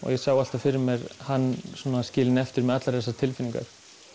ég sá alltaf fyrir mér hann skilinn eftir með allar þessar tilfinningar